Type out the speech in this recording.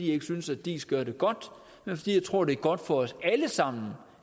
ikke synes at diis gør det godt men fordi jeg tror det er godt for os alle sammen